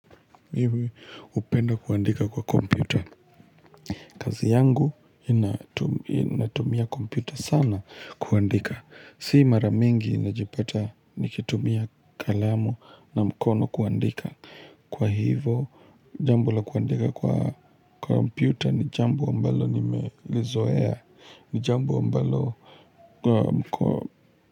Hupenda kuandika kwa kompyuta kazi yangu inatumia kompyuta sana kuandika Si mara mingi najipata nikitumia kalamu na mkono kuandika Kwa hivo jambo la kuandika kwa kompyuta ni jambo ambalo nimezoea ni jambo ambalo mkono.